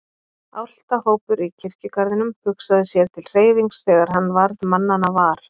Álftahópur í kirkjugarðinum hugsaði sér til hreyfings þegar hann varð mannanna var.